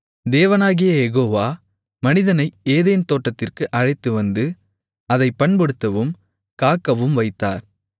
தேவனாகிய யெகோவா மனிதனை ஏதேன் தோட்டத்திற்கு அழைத்துவந்து அதைப் பண்படுத்தவும் காக்கவும் வைத்தார்